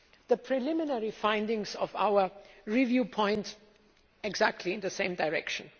The preliminary findings of our review point exactly in the same direction.